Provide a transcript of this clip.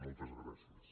moltes gràcies